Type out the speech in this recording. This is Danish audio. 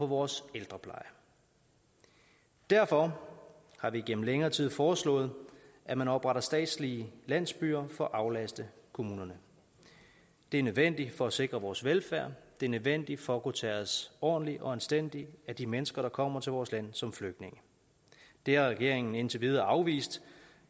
vores ældrepleje derfor har vi gennem længere tid foreslået at man opretter statslige landsbyer for at aflaste kommunerne det er nødvendigt for at sikre vores velfærd det er nødvendigt for at kunne tage os ordentligt og anstændigt af de mennesker der kommer til vores land som flygtninge det har regeringen indtil videre afvist